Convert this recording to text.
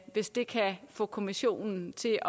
hvis det kan få kommissionen til